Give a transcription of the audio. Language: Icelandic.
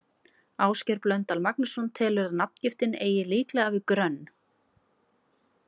Ásgeir Blöndal Magnússon telur að nafngiftin eigi líklega við grönn.